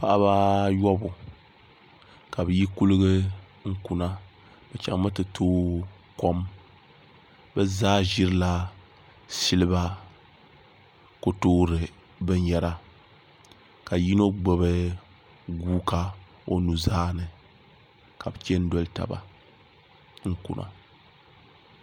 Paɣaba ayobu ka bi kuligi kuna bi chɛŋ mi ti tooi kom o chɛŋ bi zaa ʒirila silba kotoori bin yɛra ka yino gbubi guuka o nuzaa ni ka bi chɛni doli tabi n kuna